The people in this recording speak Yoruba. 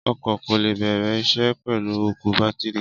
Ọkọ̀ kò lè bẹ̀rẹ̀ isẹ́ pẹ̀lú òkú bátìrì.